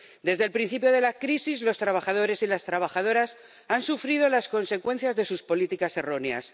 Desde el principio de la crisis los trabajadores y las trabajadoras han sufrido las consecuencias de sus políticas erróneas.